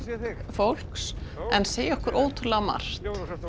fólks en segja okkur ótrúlega margt